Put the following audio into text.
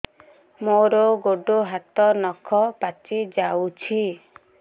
ମୋର ଗୋଡ଼ ହାତ ନଖ ପାଚି ଯାଉଛି